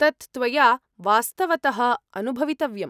तत् त्वया वास्तवतः अनुभवितव्यम्।